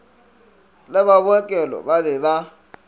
le ba bookelo ba be